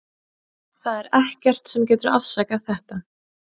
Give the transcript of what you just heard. Það er ekkert sem getur afsakað þetta.